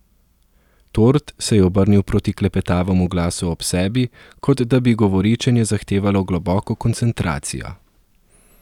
Tord se je obrnil proti klepetavemu glasu ob sebi, kot da bi govoričenje zahtevalo globoko koncentracijo.